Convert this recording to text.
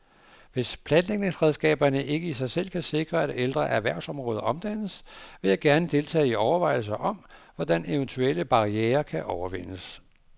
Hvis planlægningsredskaberne ikke i sig selv kan sikre, at ældre erhvervsområder omdannes, vil jeg gerne deltage i overvejelser om, hvordan eventuelle barrierer kan overvindes.